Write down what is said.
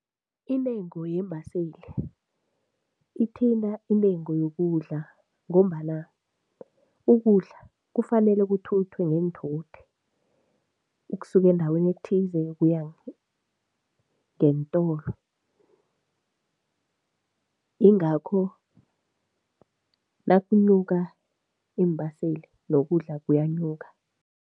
Intengo yeembaseli ithinte intengo yokudla ngombana ukudla kufanele kuthuthwe ngeenthuthi ukusuka endaweni ekuthiwa kuze kuya ngeentolo, yingakho nakunyuka iimbaseli nokudla kuyanyuka.